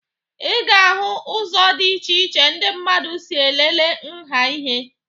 Ị ga-ahụ ụzọ dị iche iche ndị mmadụ si elele nha ihe